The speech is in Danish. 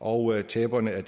og taberne er